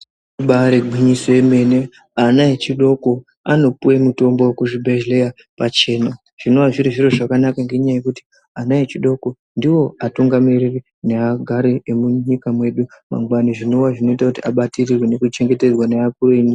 Ibaari gwinyiso yemene, ana echidoko anopuwe mitombo kuzvibhedhleya pachena, zvinowa zviri zviro zvakanaka ngenyaya yekuti, ana echidoko ndiwo atungamiriri neagari emunyika mwedu mangwani, zvinowa zvinoita kuti abatikirwe nekuchenhetedzwa ngeakuru enyika.